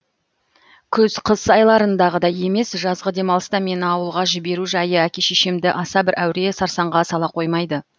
күз қыс айларындағыдай емес жазғы демалыста мені ауылға жіберу жайы әке шешемді аса бір әуре сарсаңға сала қоймайды